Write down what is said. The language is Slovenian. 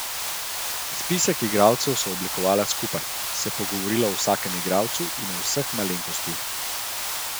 Spisek igralcev sva oblikovala skupaj, se pogovorila o vsakem igralcu in o vseh malenkostih.